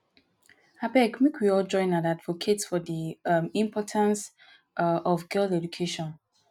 abeg make we all join hand advocate for the um importance um of girl education